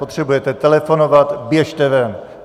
Potřebujete telefonovat, běžte ven!